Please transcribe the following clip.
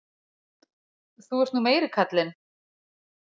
Þú ert nú meiri kallinn.